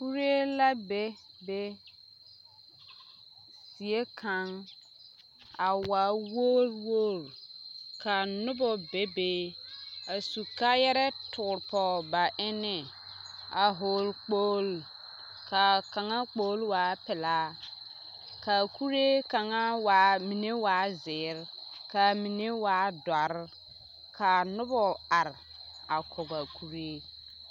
Kuree la be be die kaŋ a waa wogiri wogiri ka noba bebe a su kaayarɛɛ toore pɔge ba eneŋ a hɔɔle kpoli k'a kaŋa kpoli waa pelaa k'a kuree kaŋa waa mine waa zeere k'a mine waa dɔre k'a nobɔ are a kɔgaa kuree.